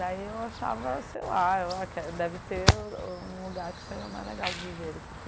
Daí eu achava, sei lá, eu a deve ter um lugar que seja mais legal de viver do que aqui.